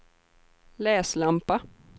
läslampa